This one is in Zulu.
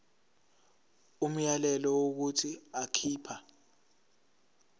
umyalelo wokuthi akhipha